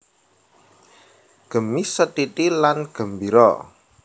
Gemi setiti lan gembira